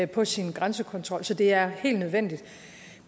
på sin grænsekontrol så det er helt nødvendigt